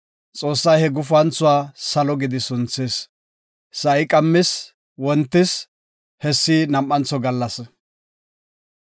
Xoossay he gufanthuwa, “Salo” gidi sunthis. Sa7i qammis; wontis; hessi nam7antho gallasa.